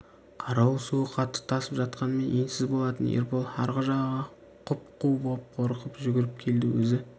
қарауыл суы қатты тасып жатқанмен енсіз болатын ербол арғы жағаға құп-қу боп қорқып жүгіріп келді өзі